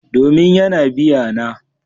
Domin yana biya na.